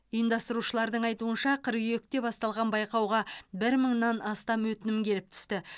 ұйымдастырушылардың айтуынша қыркүйекте басталған байқауға бір мыңнан астам өтінім келіп түсті